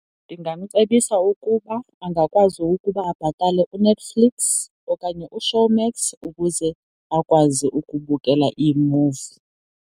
Ndingamcebisa ukuba angakwazi ukuba abhatale uNetflix okanye uShowmax ukuze akwazi ukubukela iimuvi.